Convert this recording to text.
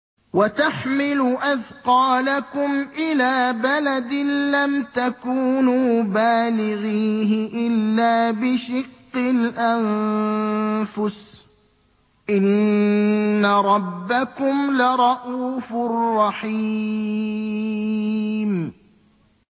وَتَحْمِلُ أَثْقَالَكُمْ إِلَىٰ بَلَدٍ لَّمْ تَكُونُوا بَالِغِيهِ إِلَّا بِشِقِّ الْأَنفُسِ ۚ إِنَّ رَبَّكُمْ لَرَءُوفٌ رَّحِيمٌ